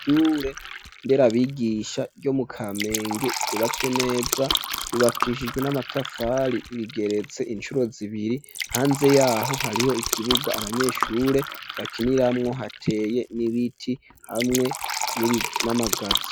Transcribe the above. ishure nderabigisha ryo mu kamenge ryubatswe neza ryubakishijwe n'amatafari rigeretse incuro zibiri hanze yaho hariho ikibuga abanyeshure bakiniramwo hateye n'ibiti hamwe n'amagazo.